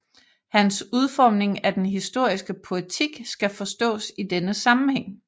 Hans udformning af den historiske poetik skal forstås i denne sammenhæng